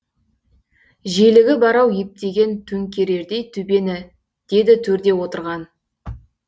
желігі бар ау ептеген төңкерердей төбені деді төрде отырған